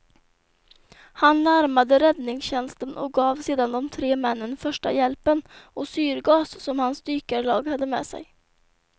Han larmade räddningstjänsten och gav sedan de tre männen första hjälpen och syrgas som hans dykarlag hade med sig.